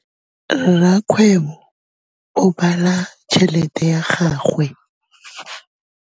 Rakgwêbô o bala tšheletê ya gagwe.